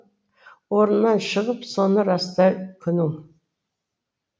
орнынан шығып соны растай күнің